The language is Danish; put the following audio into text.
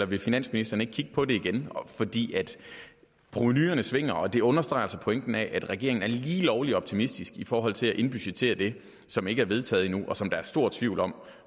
vil finansministeren ikke kigge på det igen provenuerne svinger og det understreger altså pointen med at regeringen er lige lovlig optimistisk i forhold til at indbudgettere det som ikke er vedtaget endnu og som der er stor tvivl om